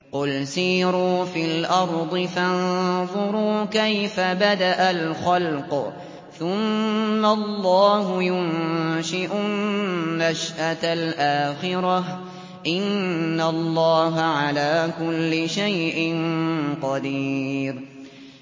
قُلْ سِيرُوا فِي الْأَرْضِ فَانظُرُوا كَيْفَ بَدَأَ الْخَلْقَ ۚ ثُمَّ اللَّهُ يُنشِئُ النَّشْأَةَ الْآخِرَةَ ۚ إِنَّ اللَّهَ عَلَىٰ كُلِّ شَيْءٍ قَدِيرٌ